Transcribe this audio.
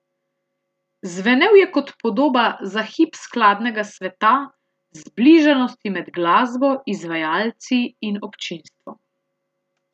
Zvenel je kot podoba za hip skladnega sveta, zbližanosti med glasbo, izvajalci in občinstvom.